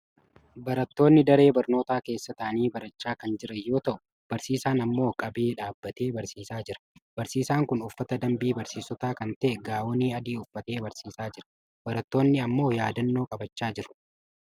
Barattoonni daree barnootaa keessa taa'anii barachaa kan jiran yoo ta'u, barsiisaan ammoo qabee dhaabatee barsiisaa jira. Barsiisaan kun uffata dambii barsiisotaa kan ta'e gaawonii adii uffatee barsiisaa jira. Barattonni ammoo yaadannoo qabachaa jiru.